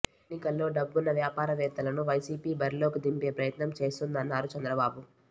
ఎన్నికల్లో డబ్బున్న వ్యాపారవేత్తలను వైసీపీ బరిలోకి దింపే ప్రయత్నం చేస్తోందన్నారు చంద్రబాబు